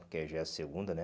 Porque já é a segunda, né?